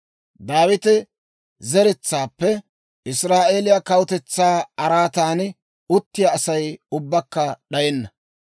Daawita zeretsaappe Israa'eeliyaa kawutetsaa araatan uttiyaa Asay ubbakka d'ayenna.